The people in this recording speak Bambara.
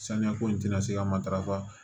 Saniya ko in tɛ na se ka matarafa